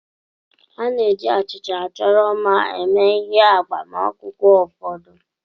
A na-eji achịcha achọrọ mma eme ihe n'agbamakwụkwọ ụfọdụ.